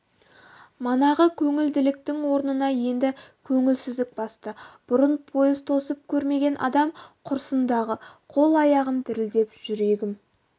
манағы көңілділіктің орнын енді көңілсіздік басты бұрын пойыз тосып көрмеген адам құрсын-дағы қол аяғым дірілдеп жүрегім